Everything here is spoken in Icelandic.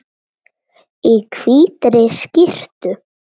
Í hvítri skyrtu.